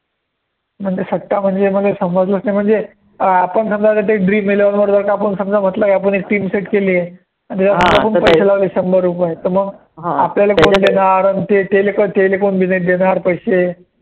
म्हणजे सट्टा म्हणजे मले समजलंच नाही म्हणजे आपण समजा वैगरे टाकून समजा म्हटलं आपण एक team set केली आहे, पैसे लावले शंभर रुपये त मग आपल्याला कोण देणार tele telephone देणार पैसे